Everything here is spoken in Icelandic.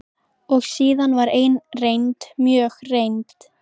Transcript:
Og síðan var ein reynd, mjög reynd.